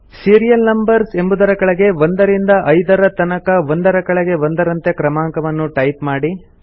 serial numbers ಎಬುದರ ಕೆಳಗೆ 1 ರಿಂದ 5 ದರ ತನಕ ಒಂದರ ಕೆಳಗೆ ಒಂದರಂತೆ ಕ್ರಮಾಂಕವನ್ನು ಟೈಪ್ ಮಾಡಿ